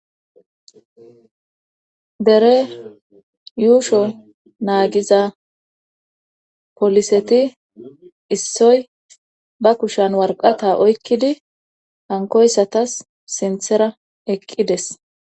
dere yuusho naagiza poliseti issoy ba kushan warqata oykkidi hankoyssatas sinthera eqqides